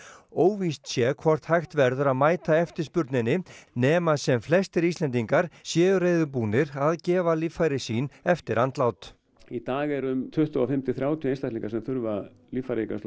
óvíst sé hvort hægt verður að mæta eftirspurninni nema sem flestir Íslendingar séu reiðubúnir að gefa líffæri sín eftir andlát í dag eru um tuttugu og fimm til þrjátíu einstaklingar sem þurfa líffæraígræðslu